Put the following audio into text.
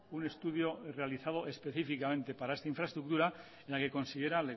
un estudio realizado específicamente para esta infraestructura en la que considera